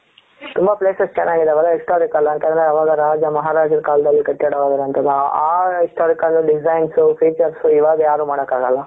ತುಂಬಾ places ಚೆನ್ನಾಗಿದ್ದವಲ್ಲ historical ಅಂತ ಅಂದ್ರೆ ಅವಾಗ ರಾಜ ಮಹಾರಾಜ ಕಾಲದಲ್ಲಿ ಕಟ್ಟಡವಾಗಿರುವಂತಹದ್ದು ಹಾ historical designs features ಇವಾಗ ಯಾರು ಮಾಡಕ್ಕೆ ಆಗಲ್ಲ.